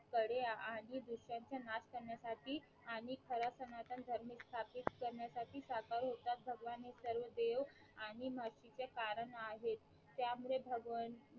कडे आणि दुसर्यांचा नाश करण्यासाठी आणि खरा सनातन धर्म स्थापित करण्यासाठी साकार होतात भगवान हे सर्व देव आणि महर्षी चे कारण आहेत त्या मुळे भगवन